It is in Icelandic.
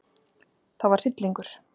Það var hryllingur.